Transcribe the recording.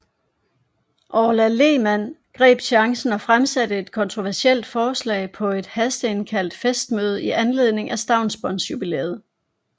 Orla Lehmann greb chancen og fremsatte et kontroversielt forslag på et hasteindkaldt festmøde i anledning af stavnsbåndsjubilæet